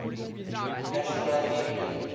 national rugby union